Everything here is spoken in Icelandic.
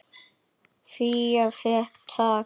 Fía fékk tak.